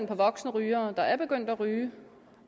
på voksenrygere der er begyndt at ryge